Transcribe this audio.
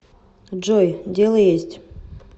джой дело есть